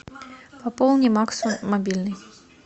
пополни максу мобильный